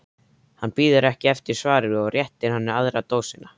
Hann bíður ekki eftir svari og réttir henni aðra dósina.